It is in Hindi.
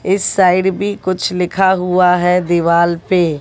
इस साइड भी कुछ लिखा हुआ है दीवाल पे।